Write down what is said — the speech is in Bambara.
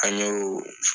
An y'o